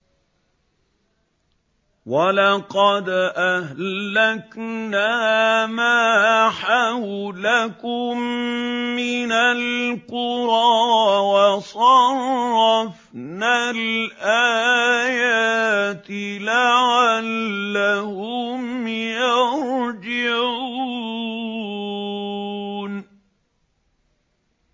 وَلَقَدْ أَهْلَكْنَا مَا حَوْلَكُم مِّنَ الْقُرَىٰ وَصَرَّفْنَا الْآيَاتِ لَعَلَّهُمْ يَرْجِعُونَ